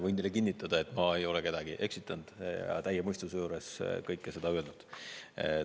Võin teile kinnitada, et ma ei ole kedagi eksitanud, olen täie mõistuse juures kõike seda öelnud.